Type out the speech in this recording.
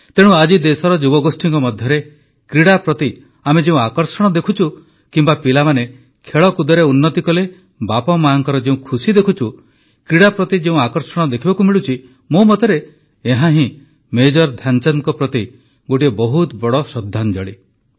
ତେଣୁ ଆଜି ଦେଶର ଯୁବଗୋଷ୍ଠୀଙ୍କ ମଧ୍ୟରେ କ୍ରୀଡ଼ା ପ୍ରତି ଆମେ ଯେଉଁ ଆକର୍ଷଣ ଦେଖୁଛୁ କିମ୍ବା ପିଲାମାନେ ଖେଳକୁଦରେ ଉନ୍ନତି କଲେ ବାପାମାଙ୍କ ଯେଉଁ ଖୁସି ଦେଖୁଛୁ କ୍ରୀଡ଼ା ପ୍ରତି ଯେଉଁ ଆକର୍ଷଣ ଦେଖିବାକୁ ମିଳୁଛି ମୋ ମତରେ ଏହାହିଁ ମେଜର ଧ୍ୟାନଚାନ୍ଦଙ୍କ ପ୍ରତି ଗୋଟିଏ ବହୁତ ବଡ଼ ଶ୍ରଦ୍ଧାଞ୍ଜଳି